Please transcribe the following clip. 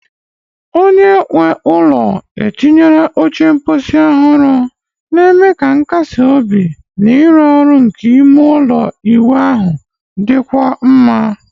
Onye nwe ụlọ etinyere oche mposi ọhụrụ, na-eme ka nkasi obi na ịrụ ọrụ nke ime ụlọ ịwụ ahụ dịkwuo mma.